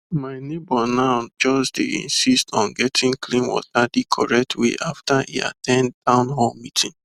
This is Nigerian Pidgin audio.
my neighbor now dey insist on getting clean water the correct way after e at ten d town hall meeting